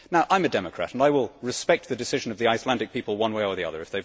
I am a democrat and I will respect the decision of the Icelandic people one way or the other.